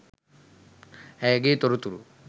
ඇයගේ තොරතුරු